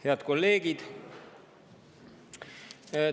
Head kolleegid!